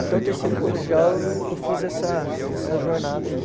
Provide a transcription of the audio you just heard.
Até o terceiro colegial eu eu fiz essa essa jornada aí.